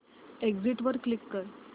exit वर click कर